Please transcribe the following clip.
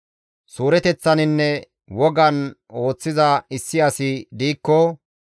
«Suureteththaninne wogan ooththiza issi asi diikko,